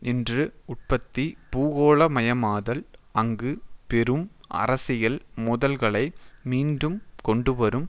இன்று உற்பத்தி பூகோளமயமாதல் அங்கு பெரும் அரசியல் மோதல்களை மீண்டும் கொண்டுவரும்